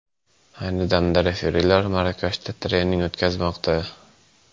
Ayni damda referilar Marokashda trening o‘tkazmoqda.